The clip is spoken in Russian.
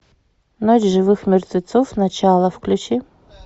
ночь живых мертвецов начало включи